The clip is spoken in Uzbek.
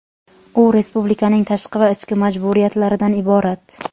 U respublikaning tashqi va ichki majburiyatlaridan iborat.